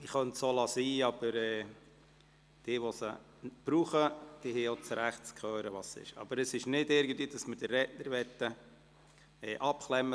Ich könnte es auch bleiben lassen, aber jene, die auf die Übersetzung angewiesen sind, haben auch das Recht zu hören, was läuft.